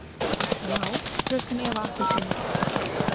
Já, fröken Eva appelsína?